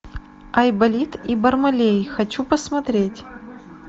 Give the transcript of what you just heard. айболит и бармалей хочу посмотреть